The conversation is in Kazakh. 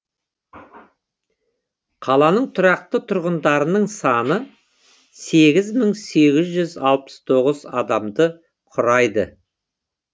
қаланың тұрақты тұрғындарының саны сегіз мың сегіз жүз алпыс тоғыз адамды құрайды